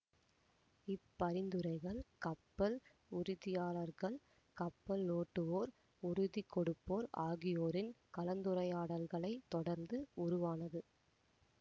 இப்பரிந்துரைகள் கப்பல் உறுதியாளர்கள் கப்பலோட்டுவோர் உறுதிகொடுப்போர் ஆகியோரின் கலந்துரையாடல்களைத் தொடர்ந்து உருவானது